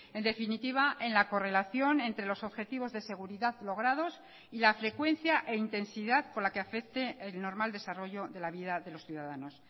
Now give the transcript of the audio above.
en definitiva en la correlación entre los objetivos de seguridad logrados y la frecuencia e intensidad con la que afecte el normal desarrollo de la vida de los ciudadanos